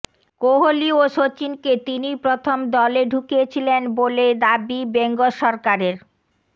কোহলি ও শচীনকে তিনিই প্রথম দলে ঢুকিয়েছিলেন বলে দাবি বেঙ্গসরকারের